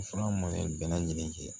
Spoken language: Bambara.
Fura minnu bɛɛ lajɛlen kɛ